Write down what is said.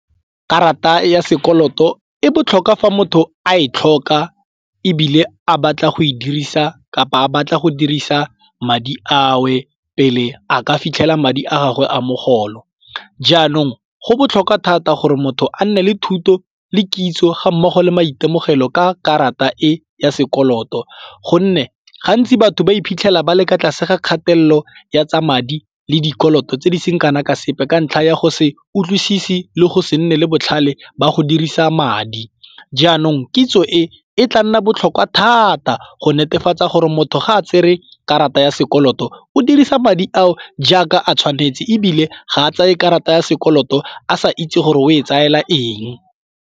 Karata ya sekoloto e botlhokwa fa motho a e tlhoka ebile a batla go e dirisa kapa a batla go dirisa madi ao pele a ka fitlhela madi a gagwe a mogolo. Jaanong go botlhokwa thata gore motho a nne le thuto le kitso ga mmogo le maitemogelo ka karata e ya sekoloto gonne gantsi batho ba iphitlhela ba le kwa tlase ga kgatelelo ya tsa madi le dikoloto tse di seng kana ka sepe ka ntlha ya go se utlwise le go se nne le botlhale ba go dirisa madi. Jaanong kitso e tla nna botlhokwa thata go netefatsa gore motho ga a tsere karata ya sekoloto o dirisa madi a o jaaka a tshwanetse ebile ga a tseye karata ya sekoloto a sa itse gore o e tsaela eng.